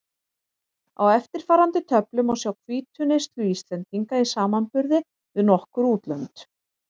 Á eftirfarandi töflu má sjá hvítuneyslu Íslendinga í samanburði við nokkur útlönd.